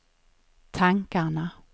tankarna